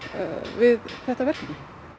við þetta verkefni